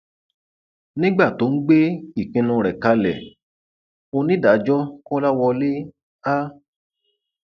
nígbà tó ń gbé ìpinnu rẹ kalẹ onídàájọ kọlàwọlẹ a